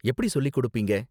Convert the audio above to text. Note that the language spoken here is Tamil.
எப்படி சொல்லிக்கொடுப்பீங்க?